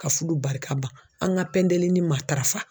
Ka fudu barika ban. An ŋa pɛndelini matarafa